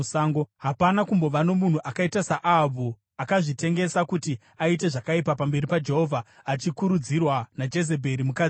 Hapana kumbova nomunhu akaita saAhabhu, akazvitengesa kuti aite zvakaipa pamberi paJehovha, achikurudzirwa naJezebheri mukadzi wake.